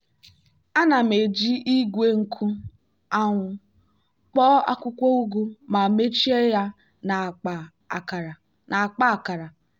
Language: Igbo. ana m eji igwe nkụ anwụ kpoo akwụkwọ ugu ma mechie ya na akpa akara.